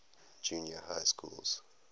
junior high schools